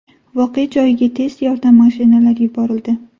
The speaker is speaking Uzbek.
Voqea joyiga tez yordam mashinalari yuborildi.